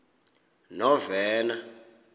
novena